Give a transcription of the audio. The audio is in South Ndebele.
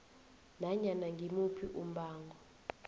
nanyana ngimuphi umbango